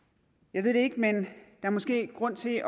jeg ved det ikke men er måske grund til